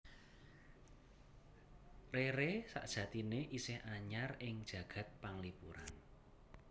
Rere sajatiné isih anyar ing jagad panglipuran